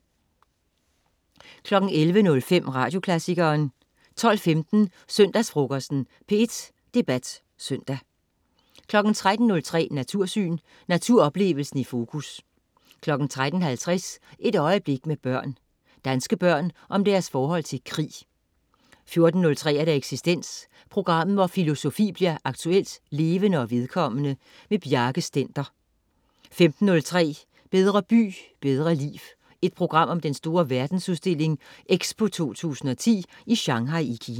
11.05 Radioklassikeren 12.15 Søndagsfrokosten. P1 Debat Søndag 13.03 Natursyn. Naturoplevelsen i fokus 13.50 Et øjeblik med børn. Danske børn om deres forhold til krig 14.03 Eksistens. Programmet hvor filosofi bliver aktuelt, levende og vedkommende. Bjarke Stender 15.03 Bedre by, bedre liv. Et program om den store Verdensudstilling "EXPO 2010" i Shanghai i Kina